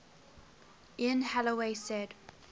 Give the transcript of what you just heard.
ian holloway said